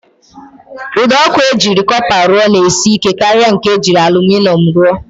Ụdọọkụ e jiri kọpa rụọ na-esi ike karịa nke e jiri alụminịọm rụọ